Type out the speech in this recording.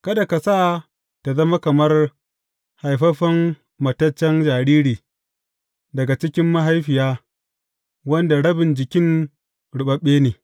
Kada ka sa ta zama kamar haifaffen mataccen jariri daga cikin mahaifiya wanda rabin jikin ruɓaɓɓe ne.